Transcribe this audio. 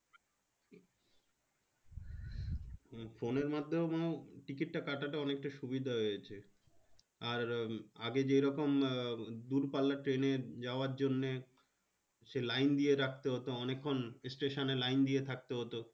phone এর মাধ্যমেও ticket টা কাটাতে অনেকটা সুবিধা হয়েছে আর আগে যেমন দূরপাল্লার train এ যাওয়ার জন্যে সে line দিয়ে রাখতে হতো অনেক্ষন station এ line দিয়ে থাকতে হতো